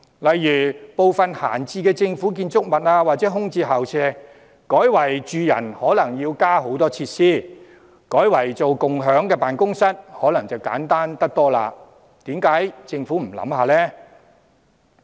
例如利用閒置政府建築物或空置校舍，把這些單位改作住宅可能要添加很多設施，但改作共享辦公室可能簡單得多，政府何不考慮一下？